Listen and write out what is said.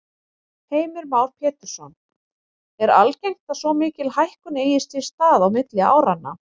Heimir Már Pétursson: Er algengt að svo mikil hækkun eigi sér stað á milli áranna?